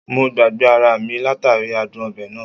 Mo gbagbe ara mi latari adun obe naa